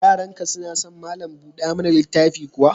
Yaranka suna son malam buɗa mana littafi kuwa?